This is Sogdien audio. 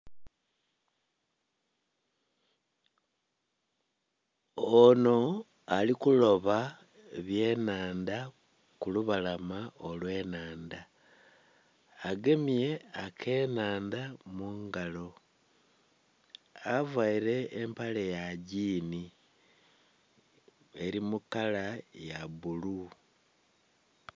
Onho ali kuloba ebye nhandha ku lubalama olwe nhandha agemye ake nhandha mungalo avaire empale ya giini eri mukala ya bbulu.